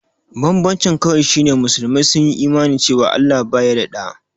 Banbancin kawai shi ne musulmai sun Imani cewa Allah baya da ɗa.